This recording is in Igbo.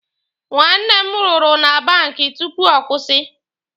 Nwanne m rụrụ na banki tupu ọ kwụsị.